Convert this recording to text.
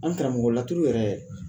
An karamɔgɔ laturu yɛrɛ